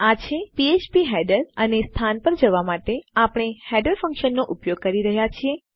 આ છે ફ્ફ્પ હેડર અને સ્થાન પર જવા માટે આપણે હેડર ફંક્શનનો ઉપયોગ કરી રહ્યા છીએ